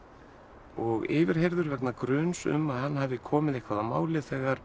og yfirheyrður vegna gruns um að hann hafi komið eitthvað að máli þegar